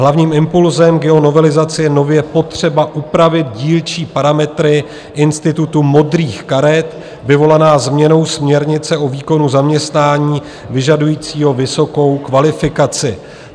Hlavním impulzem k jeho novelizaci je nově potřeba upravit dílčí parametry institutu modrých karet, vyvolaná změnou směrnice o výkonu zaměstnání vyžadujícího vysokou kvalifikaci.